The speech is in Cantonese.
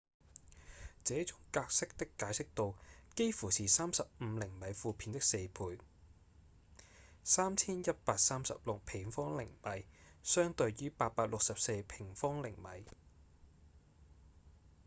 這種格式的解析度幾乎是35釐米負片的四倍3136平方釐米相對於864平方釐米